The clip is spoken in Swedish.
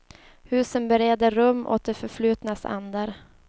Husen bereder rum åt det förflutnas andar.